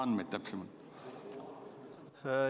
On sul täpsemaid andmeid?